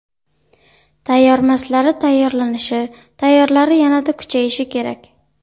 Tayyormaslari tayyorlanishi, tayyorlari yanada kuchayishi kerak.